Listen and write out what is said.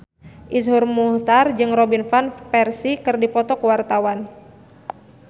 Iszur Muchtar jeung Robin Van Persie keur dipoto ku wartawan